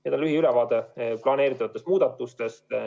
See oli lühiülevaade planeeritavatest muudatustest.